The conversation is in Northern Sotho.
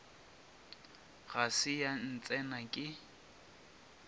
ga se ya ntsena ke